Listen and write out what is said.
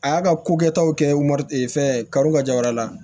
A y'a ka ko kɛtaw kɛ ma fɛn karo ka ja wɛrɛ la